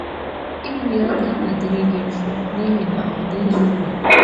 Iri ya agaghị adịrị gị mfe n’ihi na ọ dịghị n’ụlọ gị.